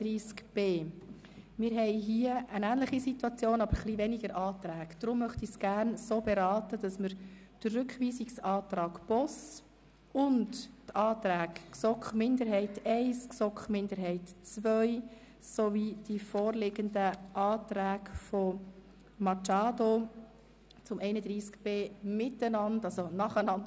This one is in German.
Art. 31b (neu) Rückweisung an die Kommission mit der Auflage, die Systematik der Kürzung des Grundleistungsbedarfs anzupassen, so dass ein genereller Mindest-Grundbedarfsleistungsbetrag für alle Personengruppen festgelegt wird und je nach Personengruppe ein Zusatzgrundbedarfsleistungsbetrag.